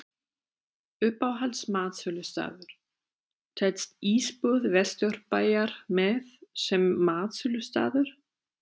Uppáhalds matsölustaður: Telst Ísbúð Vesturbæjar með sem matsölustaður?